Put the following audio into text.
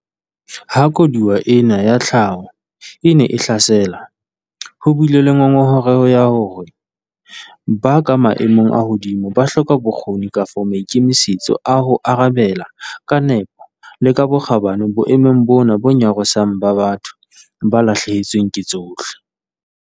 Ha koduwa ena ya tlhaho e ne e hlasela, ho bile le ngongoreho ya hore ba ka maemong a hodimo ba hloka bokgoni kapa maikemisetso a ho arabela ka nepo le ka bokgabane boemong bona bo nyarosang ba batho ba lahlehetsweng ke tsohle.